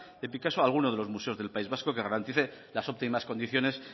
de picasso a alguno de los museos del país vasco que garantice las óptimas condiciones